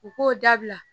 U k'o dabila